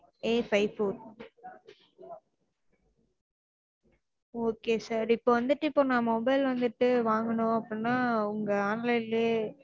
Afive four okay sir இப்போ வந்துட்டு நா mobile வந்துட்டு வாங்கணும் அப்டினா உங்க online லயே